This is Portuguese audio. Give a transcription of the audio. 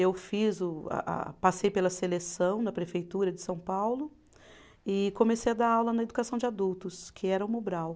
Eu fiz o a a, passei pela seleção na prefeitura de São Paulo e comecei a dar aula na educação de adultos, que era o Mobral.